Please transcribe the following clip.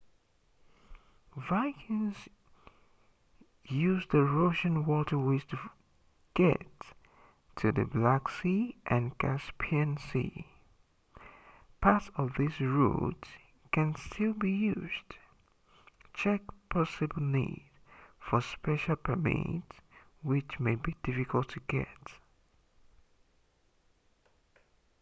vikings used the russian waterways to get to the black sea and caspian sea parts of these routes can still be used check possible need for special permits which may be difficult to get